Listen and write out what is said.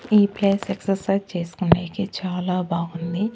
ఈ place exercise చేసుకునేకి చాలా బాగుంది.